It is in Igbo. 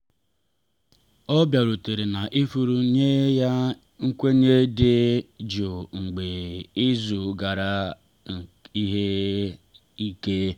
ọ bịarutere na ifuru nye ya nkwenye dị jụụ mgbe izu gara ihe ike.